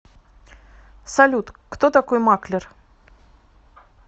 салют кто такой маклер